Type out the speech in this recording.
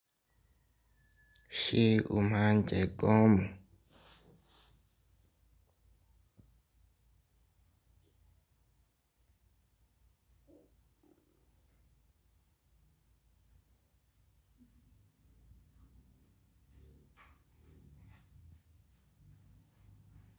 Ṣé o máa ń jẹ gómù?